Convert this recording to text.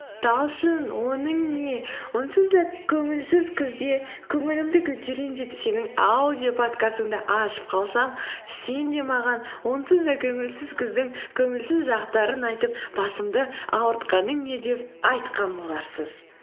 талшын оның не онсыз да көңілсіз күзде көңілімді көтерейін деп сенің аудиоподкастыңды ашып қалсам сен де маған онсыз да көңілсіз күздің көңілсіз жақтарын айтып басымды ауыртқаның не деп айтқан боларсыз